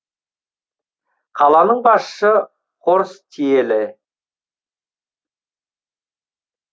қаланың басшысы хорст тиелі